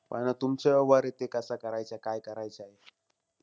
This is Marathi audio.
पण आता तुमच्यावर ते कसं करायचेय, काय करायचेय.